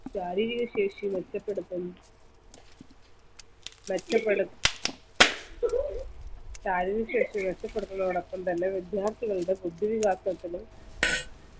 ശാരീരിക ശേഷി നഷ്ടപ്പെടുത്തും മറ്റുകളും ശാരീരിക ശേഷി നഷ്ട്ടപ്പെടുത്തുന്നതിനോടൊപ്പം തന്നെ വിദ്യാർത്ഥികളുടെ ബുദ്ധിവികാസത്തിന്